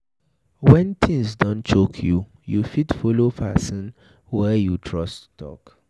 when things don choke you, you fit follow person wey you trust talk